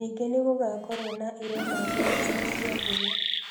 Ningĩ nĩ gũgaakorũo na irema ngothi-inĩ cia ngũyo.